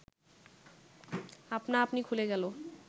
আপনা আপনি খুলে গেল